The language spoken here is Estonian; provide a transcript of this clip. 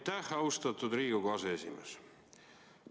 Aitäh, austatud Riigikogu aseesimees!